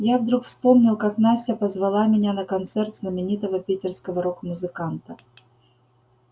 я вдруг вспомнил как настя позвала меня на концерт знаменитого питерского рок-музыканта